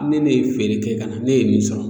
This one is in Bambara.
Ni ne ye feere kɛ ka na ne ye min sɔrɔ